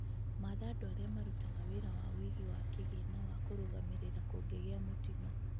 Matha andũ arĩa marutaga wĩra wa ũîgĩ wa kigĩna wa kũrũga mĩrĩra kungĩgîa mũtino.